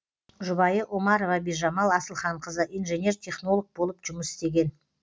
жұбайы омарова бижамал асылханқызы инженер технолог болып жұмыс істеген